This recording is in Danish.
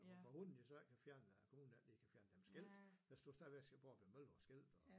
Men hvorfor hulen de så ikke har fjernet at kommunen der ikke har fjernet deres skilt der står stadigvæk Borbjerg mølle på skiltet og